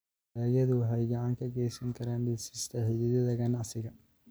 Dalagyadu waxay gacan ka geysan karaan dhisidda xidhiidhada ganacsiga.